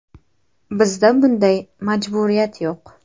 Bizda bunday majburiyat yo‘q.